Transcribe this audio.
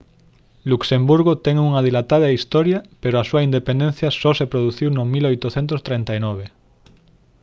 luxemburgo ten unha dilatada historia pero a súa independencia só se produciu no 1839